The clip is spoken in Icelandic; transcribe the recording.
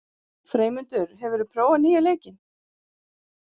Freymundur, hefur þú prófað nýja leikinn?